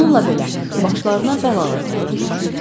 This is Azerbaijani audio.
Bununla belə, başlarına bəlalar gəlirdi.